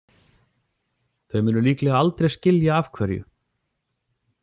Þau munu líklega aldrei skilja af hverju.